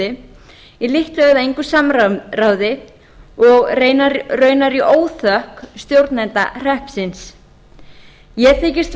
hvalfirði í lítt eða engu samráði og raunar í óþökk stjórnenda hreppsins ég þykist